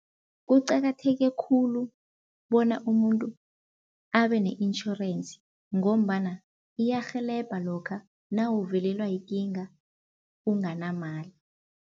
Kuqakatheke khulu bona umuntu abe ne-intjhorensi ngombana iyarhelebha lokha nawuvelelwa yikinga unganamali.